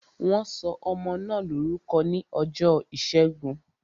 Wọn sọ ọmọ náà lórúkọ ní ọjọ́ ìṣẹ́gun